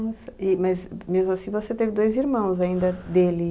Nossa, e mas mesmo assim você teve dois irmãos ainda, dele?